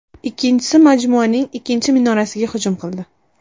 Ikkinchisi majmuaning ikkinchi minorasiga hujum qildi.